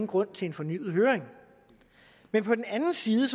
grund til en fornyet høring men på den anden side